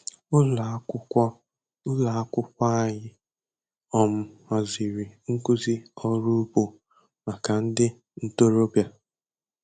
Ụlọ akwụkwọ Ụlọ akwụkwọ anyị um haziri nkụzi ọrụ ugbo maka ndị ntorobịa.